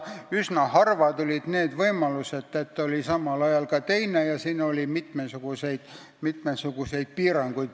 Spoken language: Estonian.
Üsna harva tuli ette seda võimalust, et tal oli samal ajal ka teise riigi kodakondsus, ja seal oli mitmesuguseid piiranguid.